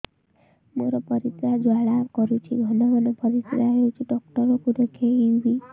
ମୋର ପରିଶ୍ରା ଜ୍ୱାଳା କରୁଛି ଘନ ଘନ ପରିଶ୍ରା ହେଉଛି ଡକ୍ଟର କୁ ଦେଖାଇବି